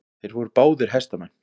Þeir voru báðir hestamenn.